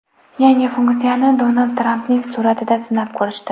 Yangi funksiyani Donald Trampning suratida sinab ko‘rishdi.